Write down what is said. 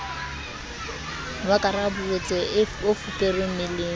wa karaburetso o fuperweng meleng